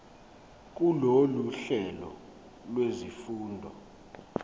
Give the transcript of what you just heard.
kulolu hlelo lwezifundo